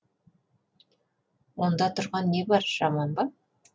онда тұрған не бар жаман ба